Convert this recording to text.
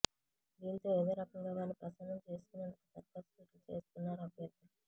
దీంతో ఏదో రకంగా వారిని ప్రసన్నం చేసుకునేందుకు సర్కస్ ఫీట్లు చేస్తున్నారు అభ్యర్ధులు